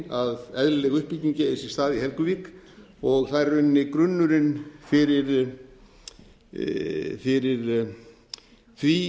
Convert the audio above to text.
að eðlileg uppbygging eigi sér stað í helguvík og það er í rauninni grunnurinn fyrir því